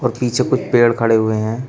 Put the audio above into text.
और पीछे कुछ पेड़ खड़े हुए हैं।